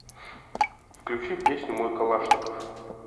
включи песню мой калашников